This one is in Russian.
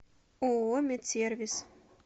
ооо медсервис